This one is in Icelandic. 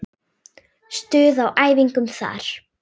Stuð á æfingum þar!